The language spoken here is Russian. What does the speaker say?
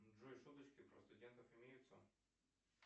джой шуточки про студентов имеются